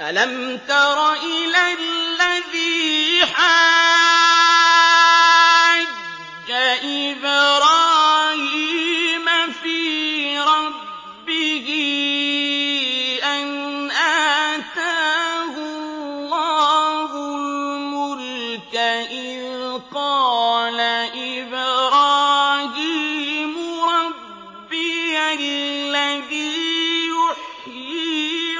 أَلَمْ تَرَ إِلَى الَّذِي حَاجَّ إِبْرَاهِيمَ فِي رَبِّهِ أَنْ آتَاهُ اللَّهُ الْمُلْكَ إِذْ قَالَ إِبْرَاهِيمُ رَبِّيَ الَّذِي يُحْيِي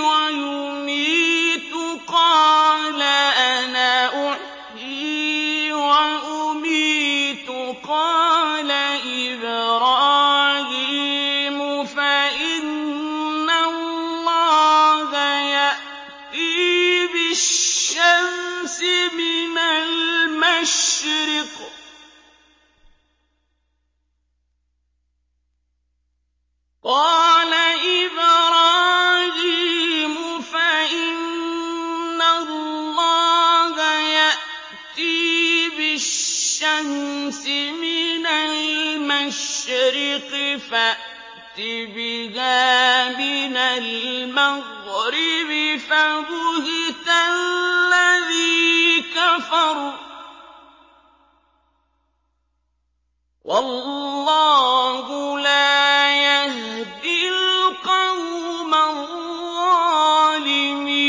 وَيُمِيتُ قَالَ أَنَا أُحْيِي وَأُمِيتُ ۖ قَالَ إِبْرَاهِيمُ فَإِنَّ اللَّهَ يَأْتِي بِالشَّمْسِ مِنَ الْمَشْرِقِ فَأْتِ بِهَا مِنَ الْمَغْرِبِ فَبُهِتَ الَّذِي كَفَرَ ۗ وَاللَّهُ لَا يَهْدِي الْقَوْمَ الظَّالِمِينَ